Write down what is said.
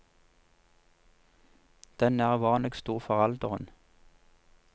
Den er uvanlig stor for alderen.